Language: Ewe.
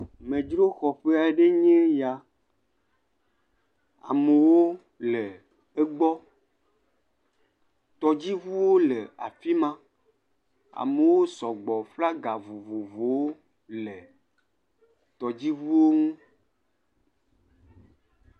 Amedroxɔƒe aɖe enye ya, amewo le egbɔ, tɔdziŋuwo le afi ma. Amewo sɔgbɔ, flaga vovovowo le tɔdziŋuwo ŋu.